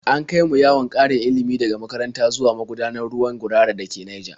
An kai mu yawon ƙarin ilimi daga makaranta zuwa magudanar ruwan Gurara da ke Naija.